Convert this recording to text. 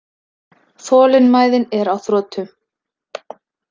Þolinmæðin er á þrotum.